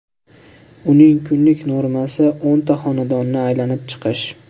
Uning kunlik normasi o‘nta xonadonni aylanib chiqish.